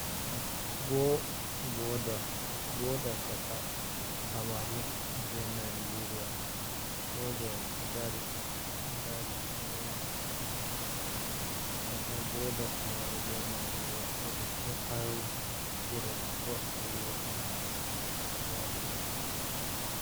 Boda chaka Kamaru be Nageria soja en ɗo dari ɗo rena chaka boda Kamaru be Nageria ha gurel Cross River ɓe waɗiɗo.